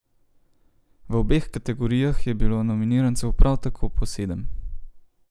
V obeh kategorijah je bilo nominirancev prav tako po sedem.